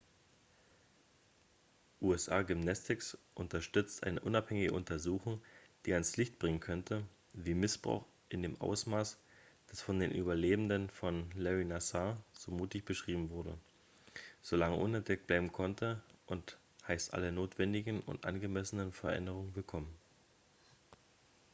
usa gymnastics unterstützt eine unabhängige untersuchung die ans licht bringen könnte wie missbrauch in dem ausmaß das von den überlebenden von lary nassar so mutig beschrieben wurde so lange unentdeckt bleiben konnte und heißt alle notwendigen und angemessenen veränderungen willkommen